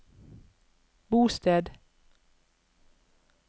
bosted